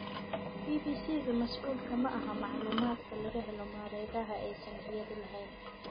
BBC-du mas'uul kama aha macluumaadka laga helo mareegaha aysan iyadu lahayn.